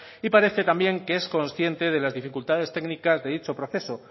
y parece también que es consciente de las dificultades técnicas de dicho proceso